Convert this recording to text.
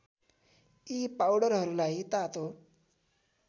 यी पाउडरहरूलाई तातो